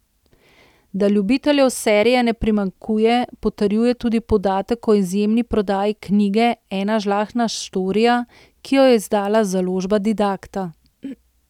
Da ljubiteljev serije ne primanjkuje, potrjuje tudi podatek o izjemni prodaji knjige Ena žlahtna štorija, ki jo je izdala Založba Didakta.